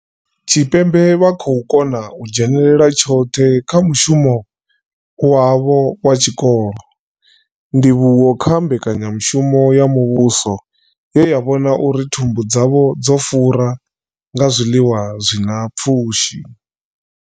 Tshipembe vha khou kona u dzhenela tshoṱhe kha mushumo wavho wa tshikolo, ndivhuwo kha mbekanyamushumo ya muvhuso ye ya vhona uri thumbu dzavho dzo fura nga zwiḽiwa zwi na pfushi.